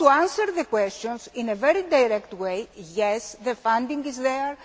made. To answer the questions in a very direct way yes, the funding is there